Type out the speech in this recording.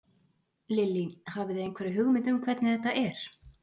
Lillý: Hafið þið einhverja hugmynd um hvernig þetta er?